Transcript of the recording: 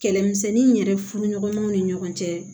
Kɛlɛmisɛnni in yɛrɛ furuɲɔgɔnmaw ni ɲɔgɔn cɛ